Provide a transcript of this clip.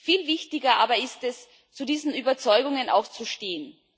Viel wichtiger aber ist es, zu diesen Überzeugungen auch zu stehen.